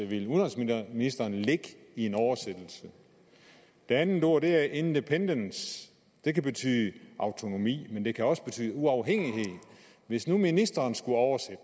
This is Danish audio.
vil udenrigsministeren lægge i en oversættelse det andet ord er independence det kan betyde autonomi men det kan også betyde uafhængighed hvis nu ministeren skulle oversætte